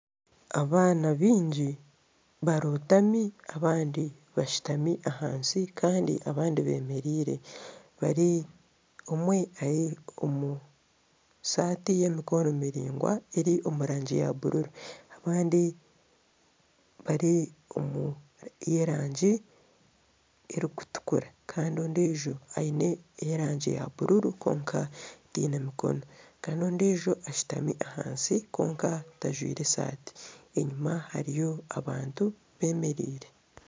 Abaana baingi barotami abandi bashutami ahansi Kandi abandi bemereire omwe ari omusaati y'emikono miraingwa eri omu rangi ya bururu abandi bari omu rangi erikutukura Kandi ondiijo aine ey'erangi eya bururu kwonka teine mikono Kandi ondiijo ashutami ahansi kwonka tajwire esaati enyuma hariyo abantu bemereire.